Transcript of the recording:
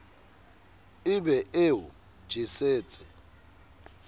e be e o jesetse